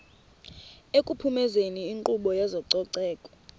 ekuphumezeni inkqubo yezococeko